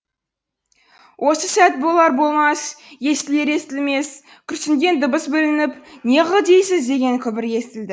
осы сәт болар болмас естілер естілмес күрсінген дыбыс білініп неғыл дейсіз деген күбір естілді